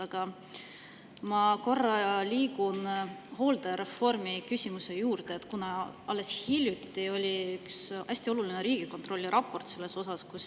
Aga ma korra liigun hooldereformi küsimuse juurde, kuna alles hiljuti tuli üks hästi oluline Riigikontrolli raport sellel teemal.